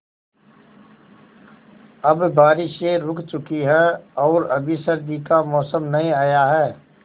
अब बारिशें रुक चुकी हैं और अभी सर्दी का मौसम नहीं आया है